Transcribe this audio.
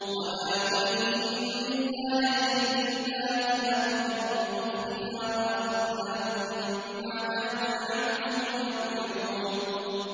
وَمَا نُرِيهِم مِّنْ آيَةٍ إِلَّا هِيَ أَكْبَرُ مِنْ أُخْتِهَا ۖ وَأَخَذْنَاهُم بِالْعَذَابِ لَعَلَّهُمْ يَرْجِعُونَ